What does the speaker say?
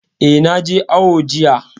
Eh, na je awo jiya